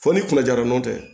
Fo ni kunna jara n'o tɛ